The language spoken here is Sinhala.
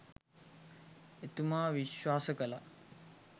එතුමා විශ්වාස කළා